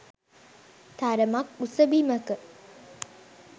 තරමක් උස බිමක.